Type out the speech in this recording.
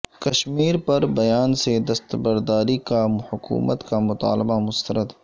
کشمیر پر بیان سے دستبرداری کا حکومت کا مطالبہ مسترد